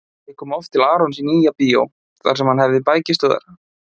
Ég kom oft til Arons í Nýja-bíó þar sem hann hafði bækistöðvar.